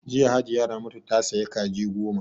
Jiya Hajiya Ramatu ta saya Kaji goma